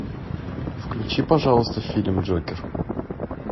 включи пожалуйста фильм джокер